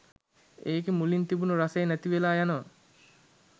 එකෙ මුලින් තිබුණ රසය නැතිවෙල යනව.